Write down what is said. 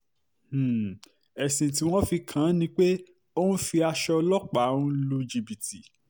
um ẹ̀sùn tí wọ́n fi kàn án ni pé ó ń fi aṣọ ọlọ́pàá um lu jìbìtì